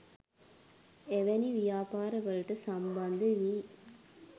එවැනි ව්‍යාපාර වලට සම්බන්ධ වී